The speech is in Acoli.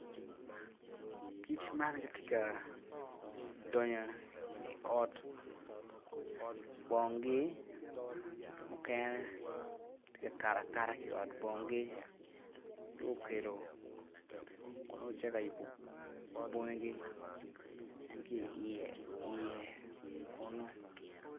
Kic man gitye ka donyo i ot bongi mukene tye ka kato akata ki i bongi gule kongo gitye ka cito ka bongi ma tyei i ye kunu.